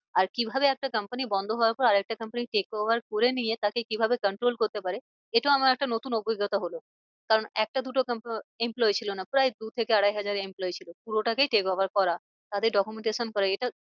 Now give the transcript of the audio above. আর কি ভাবে একটা company বন্ধ হওয়ার পর আর একটা company take over করে নিয়ে তাকে কি ভাবে control করতে পারে। এটাও আমার একটা নতুন অভিজ্ঞতা হলো। কারণ একটা দুটো employee ছিল না প্রায় দু থেকে আড়াই হাজার employee ছিল পুরোটাকেই take over করা তাদের documentation করা এটা